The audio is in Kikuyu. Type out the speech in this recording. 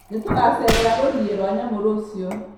Nĩtũgacererera rũriĩ rwa nyamũ rũciũ